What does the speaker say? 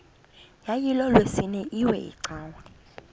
yayilolwesine iwe cawa